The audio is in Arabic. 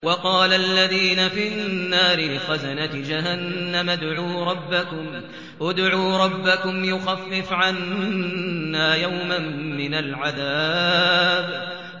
وَقَالَ الَّذِينَ فِي النَّارِ لِخَزَنَةِ جَهَنَّمَ ادْعُوا رَبَّكُمْ يُخَفِّفْ عَنَّا يَوْمًا مِّنَ الْعَذَابِ